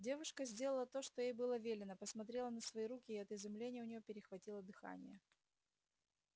девушка сделала то что ей было велено посмотрела на свои руки и от изумления у неё перехватило дыхание